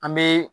An bɛ